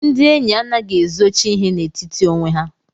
Ndị enyi anaghị ezochi ihe n'etiti onwe ha.